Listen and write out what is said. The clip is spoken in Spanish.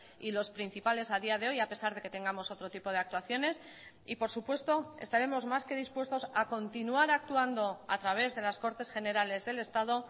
y los principales a día de hoy a pesar de que tengamos otro tipo de actuaciones y por supuesto estaremos más que dispuestos a continuar actuando a través de las cortes generales del estado